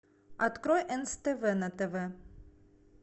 открой нств на тв